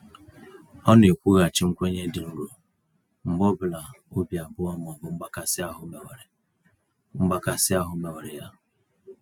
Ọ na-ekwughachi nkwenye dị nro mgbe ọ bụla obi abụọ ma ọ bụ mgbakasi ahụ mewere mgbakasi ahụ mewere ya.